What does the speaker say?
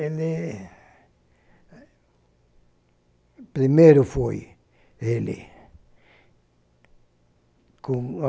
Ele... Primeiro foi ele. Como a